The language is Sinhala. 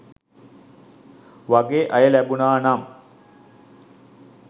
වගෙ අය ලැබුනා නම්